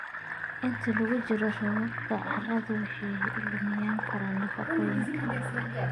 Inta lagu jiro roobabka, carradu waxay lumin kartaa nafaqooyinka.